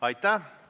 Aitäh!